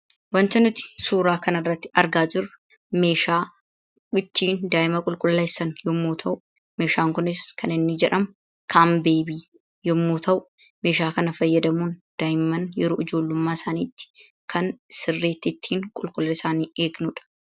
Wanta nuti suuraa kana irratti argaa jiruu meeshaa ittin da'imaa qulqulleesaan yommuu tau, meshan kun kan inni jedhamuu 'Kanbebi' yommuu ta'u, meshaa kana faayadamuun da'imaan yeroo ijjoollesumaa isaanitti kan ittin qulqullinaa isaani sirritti ittin egnuudha.